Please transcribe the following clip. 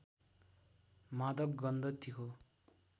मादक गन्ध तीखो